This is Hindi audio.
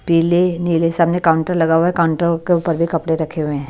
पीले नीले सामने काउंटर लगा हुआ है काउंटर के ऊपर भी कपड़े रखे हुए हैं।